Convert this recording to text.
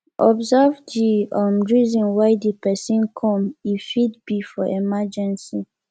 observe di um reason why di person come e fit be for emergency